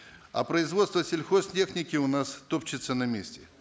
а производство сельхозтехники у нас топчется на месте